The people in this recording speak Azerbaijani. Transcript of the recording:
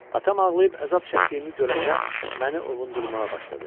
Atam ağlayıb əzab çəkdiyimi görəndə məni ovundurmağa başladı.